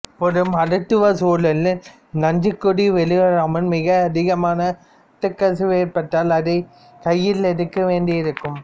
ஒரு மருத்துவ சூழலில் நஞ்சுக்கொடி வெளிவராமல் மிக அதிகமான இரத்தக்கசிவு ஏற்பட்டால் அதை கையில் எடுக்க வேண்டியிருக்கும்